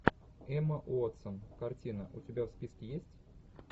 эмма уотсон картина у тебя в списке есть